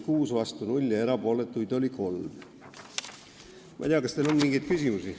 Ma ei tea, kas teil on mingeid küsimusi.